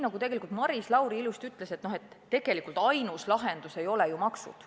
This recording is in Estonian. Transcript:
Aga nagu Maris Lauri ilusti ütles, tegelikult ainus lahendus ei ole ju maksud.